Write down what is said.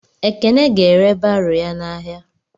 Ekene ga-ere baro ya n'ahịa.